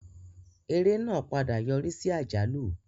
Eré náà padà yọrí sí àjálù.